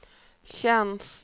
tjänst